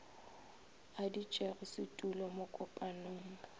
a ditšego setulo mo kopanong